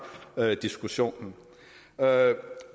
diskussionen